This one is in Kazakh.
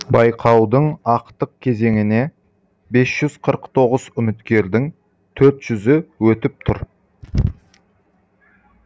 байқаудың ақтық кезеңіне бес жүз қырық тоғыз үміткердің төрт жүзі өтіп тұр